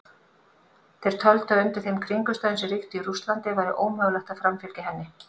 Þeir töldu að undir þeim kringumstæðum sem ríktu í Rússlandi væri ómögulegt að framfylgja henni.